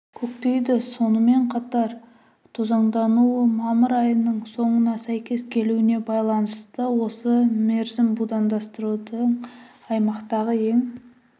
көктейді сонымен қатар тозаңдануы мамыр айының соңына сәйкес келуіне байланысты осы мерзім будандастырудың аймақтағы ең